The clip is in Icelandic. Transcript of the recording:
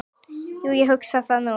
Jú, ég hugsa það nú.